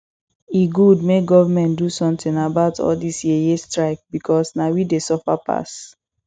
e good make government do something about all dis yeye strike because na we dey suffer passs